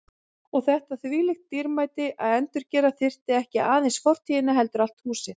Og þetta þvílíkt dýrmæti að endurgera þurfti ekki aðeins fortíðina heldur allt húsið.